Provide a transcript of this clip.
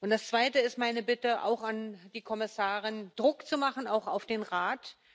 Das Zweite ist meine Bitte, auch an die Kommissarin, Druck zu machen auch auf den Rat.